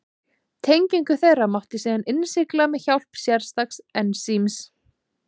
Tengingu þeirra mátti síðan innsigla með hjálp sérstaks ensíms.